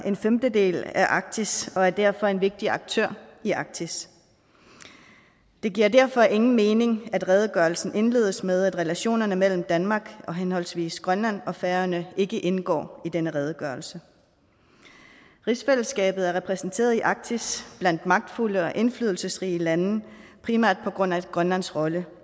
en femtedel af arktis og er derfor en vigtig aktør i arktis det giver derfor ingen mening at redegørelsen indledes med at relationerne mellem danmark og henholdsvis grønland og færøerne ikke indgår i denne redegørelse rigsfællesskabet er repræsenteret i arktis blandt magtfulde og indflydelsesrige lande primært på grund af grønlands rolle